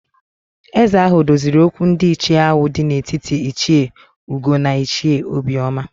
Ézē ahụ doziri okwu ndị ichie ahụ dị n'etiti Ichie Ugo na Ichie Obioma